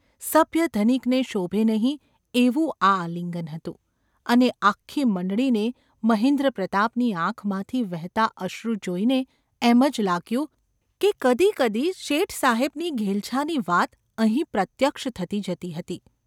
સભ્ય ધનિકને શોભે નહિ એવું આ આલિંગન હતું; અને આખી મંડળીને મહેન્દ્રપ્રતાપની આંખમાંથી વહેતાં અશ્રુ જોઈને એમ જ લાગ્યું કે કદી કદી શેઠ સાહેબની ઘેલછાની વાત અહીં પ્રત્યક્ષ થતી જતી હતી.